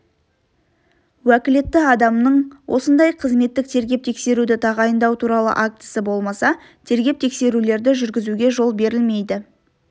уәкілетті адамның осындай қызметтік тергеп-тексеруді тағайындау туралы актісі болмаса тергеп-тексерулерді жүргізуге жол берілмейді